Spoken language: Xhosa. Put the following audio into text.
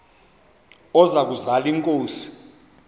oza kuzal inkosi